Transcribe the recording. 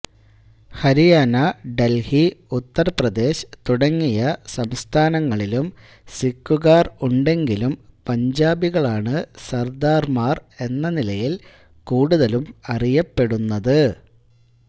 ഹരിയാന ഡൽഹി ഉത്തർപ്രദേശ് തുടങ്ങിയ സംസ്ഥാനങ്ങളിലും സിക്കുകാർ ഉണ്ടെങ്കിലും പഞ്ചാബികളാണ് സർദാർമാർ എന്ന നിലയിൽ കൂടുതലും അറിയപ്പെടുന്നത്